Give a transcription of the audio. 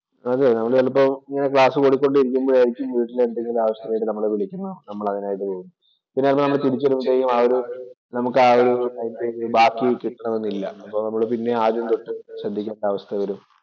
അതെ നമ്മള് ചെലപ്പോ ഇങ്ങനെ ക്ലാസ് പഠിച്ചു കൊണ്ടിരിക്കുമ്പോഴായിരിക്കും വീട്ടില് എന്തെങ്കിലും ആവശ്യത്തിനു നമ്മളെ വിളിക്കുന്നത്. നമ്മള്‍ അതിനായിട്ട്‌ പോവും. പിന്നെ നമ്മള്‍ തിരിച്ചു വരുമ്പോഴത്തേനും ആ ഒരു നമുക്കാ ഒരു ബാക്കി കിട്ടണമെന്നില്ല. അപ്പൊ നമ്മള് പിന്നേം ആദ്യം തൊട്ടു ശ്രദ്ധിക്കേണ്ട അവസ്ഥ വരും.